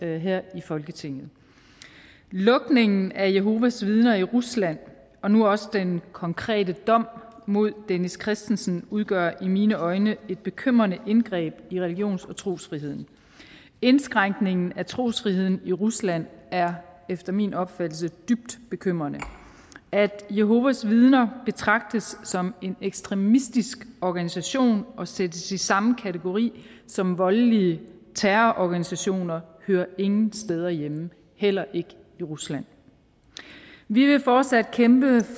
her i folketinget lukningen af jehovas vidner i rusland og nu også den konkrete dom mod dennis christensen udgør i mine øjne et bekymrende indgreb i religions og trosfriheden indskrænkningen af trosfriheden i rusland er efter min opfattelse dybt bekymrende at jehovas vidner betragtes som en ekstremistisk organisation og sættes i samme kategori som voldelige terrororganisationer hører ingen steder hjemme heller ikke i rusland vi vil fortsat kæmpe